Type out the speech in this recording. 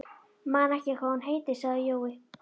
Man ekki hvað hún heitir, sagði Jói.